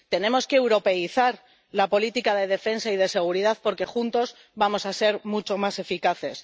Tenemos que europeizar la política de defensa y de seguridad porque juntos vamos a ser mucho más eficaces.